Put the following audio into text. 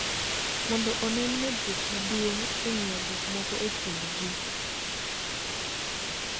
Mondo onen medruok maduong� e ng�iyo gik moko e kind ji.